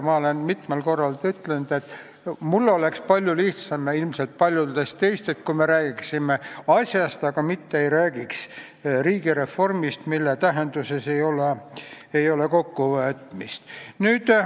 Ma olen mitmel korral ütelnud, et mul ja ilmselt paljudel teistel oleks palju lihtsam, kui me räägiksime asjast, aga ei räägiks riigireformist, mille tähenduses ei ole selgust.